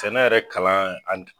Sɛnɛ yɛrɛ kalan an